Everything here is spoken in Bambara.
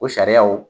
O sariyaw